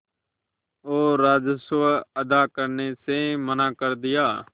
और राजस्व अदा करने से मना कर दिया